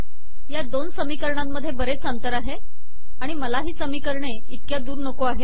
या दोन समीकरणांमधे बरेच अंतर आहे आणि मला ही समीकरणे इतक्या दूर नको आहेत